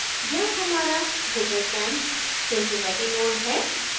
यहाँ हमारा drupalcamp cincinnati node है